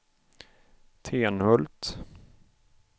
Tenhult